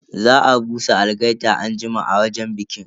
Za a busa algaita anjima a wajen bikin.